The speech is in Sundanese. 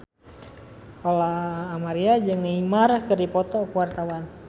Lola Amaria jeung Neymar keur dipoto ku wartawan